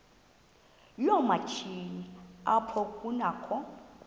yoomatshini apho kunakho